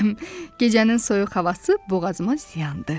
Gecənin soyuq havası boğazıma ziyandı.